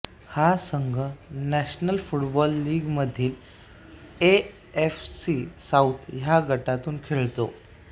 हा संघ national football लीगमधील ए एफ सी साउथ ह्या गटातून खेळतो